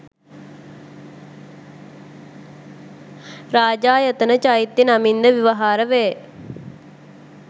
රාජායතන චෛත්‍ය නමින්ද ව්‍යවහාර වේ.